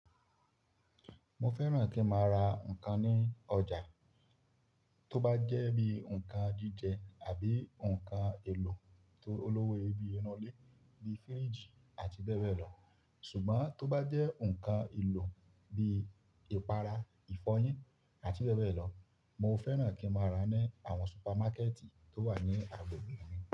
Mo fẹ́ràn kí n máa ra nǹkan ní ọjà, tó bá jẹ́ bí i nǹkan jíjẹ àbí nǹkan èlò tó olówó iye bíye inu ilé bí i firíjì àti bẹ́ẹ̀ bẹ́ẹ̀ lọ. Ṣùgbọ́n tó bá jẹ́ nǹkan èlò bí i ìpara, ìfọyín àti bẹ́ẹ̀ bẹ́ẹ̀ lọ, mo fẹ́ràn kí n máa rà á ní àwọn supamákẹ́ẹ̀tì tó wà ní agbègbè mi.